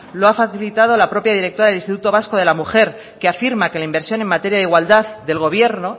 lo ha facilitado la propia directora del instituto vasco de la mujer que afirma que la inversión en materia de igualdad del gobierno